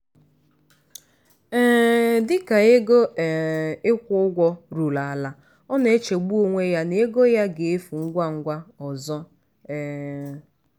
um dịka ego um ịkwụ ụgwọ ruru ala ọ na-echegbu onwe ya na ego ya ga-efu ngwa ngwa ọzọ. um